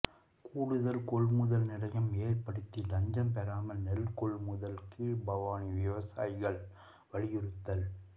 கூடுதல் கொள்முதல் நிலையம் ஏற்படுத்தி லஞ்சம் பெறாமல் நெல் கொள்முதல் கீழ்பவானி விவசாயிகள் வலியுறுத்தல்